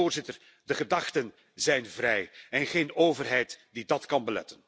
Want, Voorzitter, de gedachten zijn vrij en geen overheid die dat kan beletten.